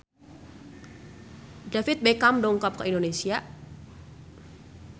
David Beckham dongkap ka Indonesia